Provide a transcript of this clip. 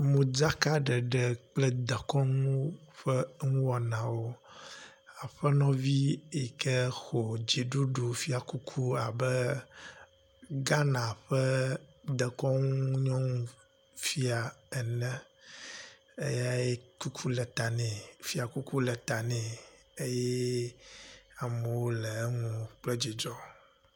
Modzakaɖeɖe kple dekɔnuwo ƒe eŋuwɔnawo, aƒenɔvi yike xɔ dziɖuɖu fiakuku abe Ghana ƒe dekɔnu nyɔnufia ene, eyae kuku le ta nɛ, fiakuku le ta nɛ eye amewo le eŋu kple dzidzɔ.